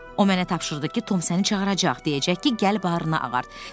O mənə tapşırdı ki, Tom səni çağıracaq, deyəcək ki, gəl barını ağart.